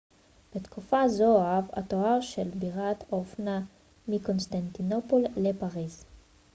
בתקופה זו הועב התואר של בירת האופנה מקונסטנטינופול לפריז